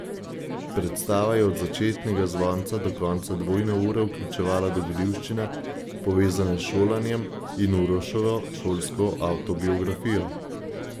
Predstava je od začetnega zvonca do konca dvojne ure vključevala dogodivščine, povezane s šolanjem in Uroševo šolsko avtobiografijo.